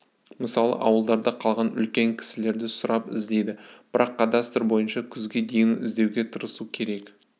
мысалы ауылдарда қалған үлкен кісілерде сұрап іздейді бірақ кадастр бойынша күзге дейін іздеуге тырысу керек